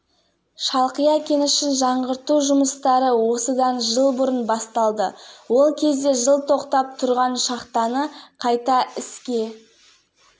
бүгін айтулы жобаның жұмыс барысын самұрық-қазына басқарма төрағасы өмірзақ шүкеев саралады талғат сұлтанбеков шалқия цинк басқарма